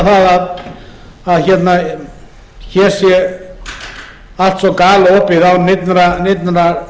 að heimila það að hér sé allt svo galopið án neinnar kröfu að